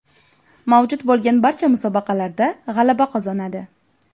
Mavjud bo‘lgan barcha musobaqalarda g‘alaba qozonadi.